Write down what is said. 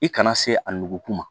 I kana se a nugu ma